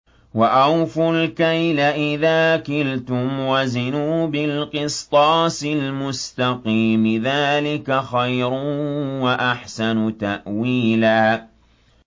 وَأَوْفُوا الْكَيْلَ إِذَا كِلْتُمْ وَزِنُوا بِالْقِسْطَاسِ الْمُسْتَقِيمِ ۚ ذَٰلِكَ خَيْرٌ وَأَحْسَنُ تَأْوِيلًا